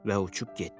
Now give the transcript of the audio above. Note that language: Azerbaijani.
Və uçub getdi.